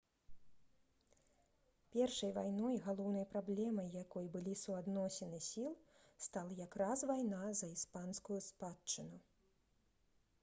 першай вайной галоўнай праблемай якой былі суадносіны сіл стала якраз вайна за іспанскую спадчыну